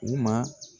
U ma